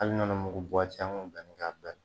Hali nɔnɔ mugu buwati an kun bɛ danni k'a bɛɛ la